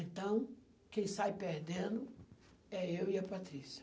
Então, quem sai perdendo é eu e a Patrícia.